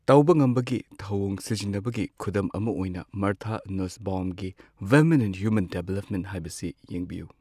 ꯇꯧꯕ ꯉꯝꯕꯒꯤ ꯊꯧꯑꯣꯡ ꯁꯤꯖꯤꯟꯅꯕꯒꯤ ꯈꯨꯗꯝ ꯑꯃ ꯑꯣꯏꯅ, ꯃꯥꯔꯊꯥ ꯅꯨꯁꯕꯥꯎꯝꯒꯤ ꯋꯤꯃꯦꯟ ꯑꯦꯟꯗ ꯍꯌ꯭ꯨꯃꯦꯟ ꯗꯤꯚꯦꯂꯞꯃꯦꯟꯠ ꯍꯥꯏꯕꯁꯤ ꯌꯦꯡꯕꯤꯌꯨ꯫